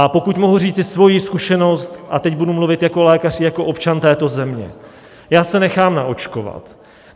A pokud mohu říci svoji zkušenost, a teď budu mluvit jako lékař i jako občan této země, já se nechám naočkovat.